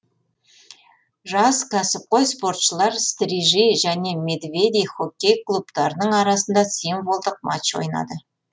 жас кәсіпқой спортшылар стрижи және медведи хоккей клубтарының арасында символдық матч ойнады